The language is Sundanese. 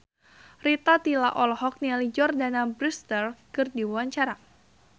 Rita Tila olohok ningali Jordana Brewster keur diwawancara